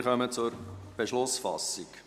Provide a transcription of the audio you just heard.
Wir kommen zur Beschlussfassung.